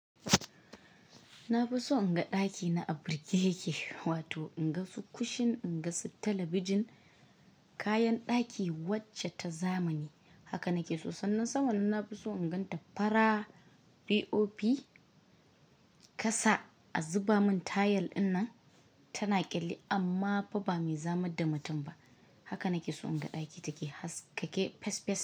Na fi so in ga ɗaki na a birke yake, wato in ga su kushin, in ga su talabijin, kayan ɗaki wacce ta zamani. Haka na ke so. Sannan sama nan na fi so in gan ta fara, POP ƙasa a zuba mun tayil ina tana ƙyalli amma fa ba me zamar da mutum ba. Haka na ke so in ga ɗaki take, haske yake fes fes.